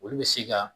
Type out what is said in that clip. Olu bɛ se ka